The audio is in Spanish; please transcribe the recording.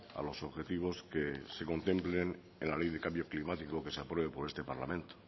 a los objetivos que se contemplen en la ley de cambio climático que se apruebe por este parlamento